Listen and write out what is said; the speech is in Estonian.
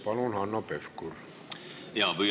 Palun, Hanno Pevkur!